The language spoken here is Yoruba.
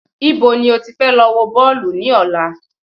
Ibo ni o ti fẹ lọ wọ Bọ́ọ̀lù ní ọ̀la?